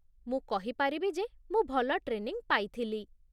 ମୁଁ କହିପାରିବି ଯେ ମୁଁ ଭଲ ଟ୍ରେନିଙ୍ଗ୍ ପାଇଥିଲି